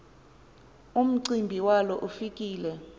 umcimbi walo ufike